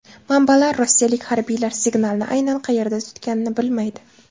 Manbalar rossiyalik harbiylar signalni aynan qayerda tutganini bilmaydi.